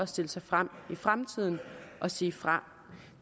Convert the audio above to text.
stille sig frem i fremtiden og sige fra